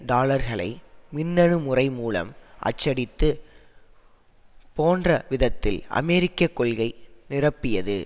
டாலர்களை மின்னணு முறைமூலம் அச்சடித்து போன்ற விதத்தில் அமெரிக்க கொள்கை நிரப்பியது